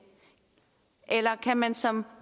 eller kan man som